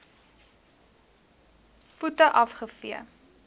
voete af gevee